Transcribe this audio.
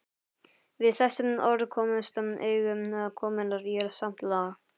Við þessi orð komust augu konunnar í samt lag.